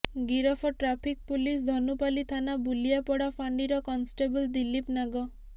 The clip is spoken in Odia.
ଗିରଫ ଟ୍ରାଫିକ୍ ପୁଲିସ୍ ଧନୁପାଲି ଥାନା ବୁଲିଆପଡା ଫାଣ୍ଡିର କନଷ୍ଟେବଲ୍ ଦିଲ୍ଲୀପ ନାଗ